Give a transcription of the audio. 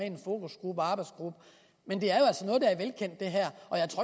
en fokusgruppe og arbejdsgruppe men det her